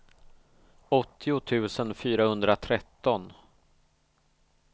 åttio tusen fyrahundratretton